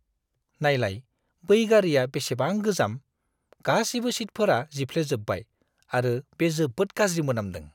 नायलाय, बै गारिआ बेसेबां गोजाम! गासिबो सिटफोरा जिफ्लेजोबबाय आरो बे जोबोद गाज्रि मोनामदों।